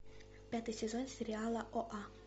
пятый сезон сериала оа